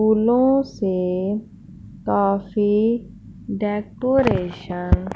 फूलों से काफी डेकोरेशन --